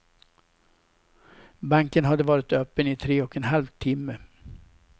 Banken hade varit öppen i tre och en halv timme.